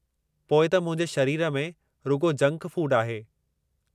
पोइ त मुंहिंजे शरीर में रुॻो जंक फूड आहे।